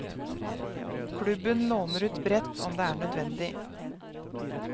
Klubben låner ut brett om det er nødvendig.